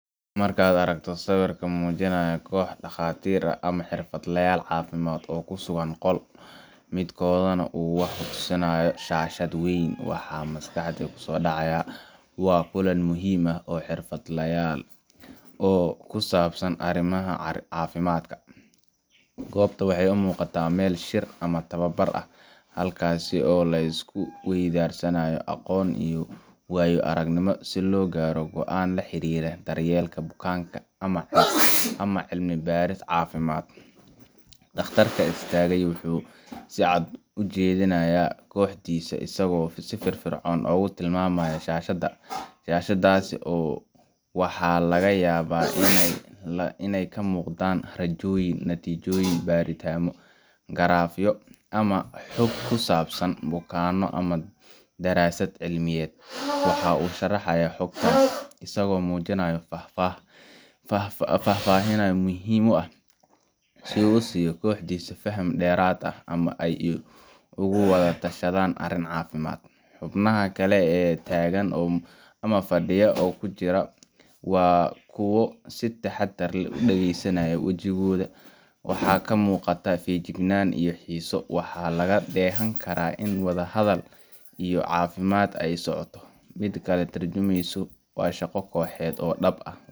Marka aad aragto sawirka muujinaya koox dhakhaatiir ah ama xirfadlayaal caafimaad oo ku sugan qol, midkoodna uu wax ku tusayo shaashad weyn, waxa maskaxda ku soo dhacaya waa kulan muhiim ah oo xirfadlayal oo ku saabsan arrimaha caafimaadka. Goobta waxay u muuqataa meel shir ama tababar ah, halkaas oo la isku weydaarsanayo aqoon iyo waayo-aragnimo si loo gaaro go’aano la xiriira daryeelka bukaanka ama cilmi-baaris caafimaad. Dhakhtarka istaagay wuxuu si cad ugu jeedinayaa kooxdiisa isagoo si firfircoon ugu tilmaamaya shaashadda. Shaashaddaas waxaa laga yaabaa inay ka muuqdaan raajooyin, natiijooyin baaritaano, garaafyo ama xog ku saabsan bukaanno ama daraasad cilmiyeed. Waxa uu sharxayaa xogtaas, isagoo muujinaya faahfaahin muhiim ah, si uu u siiyo kooxdiisa faham dheeraad ah ama si ay ugu wada tashadaan arrin caafimaad. Xubnaha kale ee fadhiga ku jira waa kuwo si taxaddar leh u dhageysanaya. Wajigooda waxaa ka muuqata feejignaan iyo xiise. Waxaa laga dheehan karaa in wada hadal iyo dood caafimaad leh ay socoto, mid ka tarjumaysa shaqo kooxeed oo dhab ah.